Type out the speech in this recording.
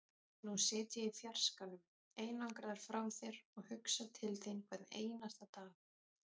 Nú sit ég í fjarskanum, einangraður frá þér, og hugsa til þín hvern einasta dag.